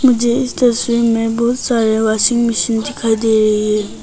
मुझे इस तस्वीर में बहुत सारे वाशिंग मशीन दिखाई दे रही है।